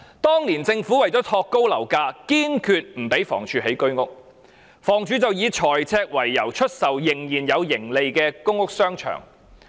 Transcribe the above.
當年，政府為托高樓價，堅決不讓房屋署興建居屋，及後房署以財赤為由，出售仍有盈利的公屋商場。